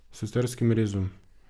S carskim rezom.